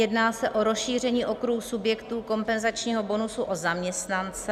Jedná se o rozšíření okruhu subjektů kompenzačního bonusu o zaměstnance.